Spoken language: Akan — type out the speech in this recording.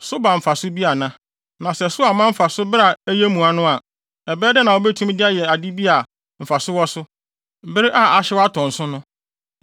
Na sɛ so amma mfaso bere a ɛyɛ mua no a, ɛbɛyɛ dɛn na wobetumi de ayɛ ade bi a mfaso wɔ so, bere a ahyew atɔ nso no?